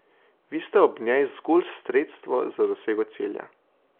Vi ste ob njej zgolj sredstvo za dosego cilja.